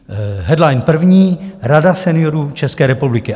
Headline první, Rada seniorů České republiky.